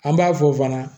An b'a fɔ fana